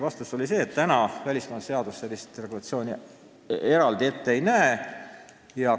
Vastus oli selline, et välismaalaste seadus praegu sellist eraldi regulatsiooni ette ei näe.